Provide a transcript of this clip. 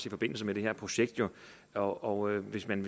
i forbindelse med det her projekt og hvis man